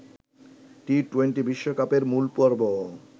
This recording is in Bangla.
টি-টোয়েন্টি বিশ্বকাপের মূলপর্ব